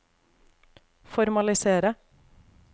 formalisere